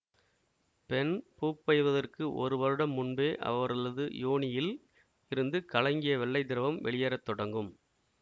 பெண் பூப்பெய்துவதற்கு ஒரு வருடம் முன்பே அவரளது யோனியில் இருந்து கலங்கிய வெள்ளை திரவம் வெளியேற தொடங்கும்